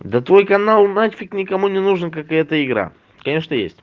да твой канал нафиг никому не нужна как и эта игра конечно есть